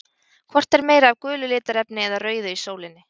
Hvort er meira af gulu litarefni eða rauðu í sólinni?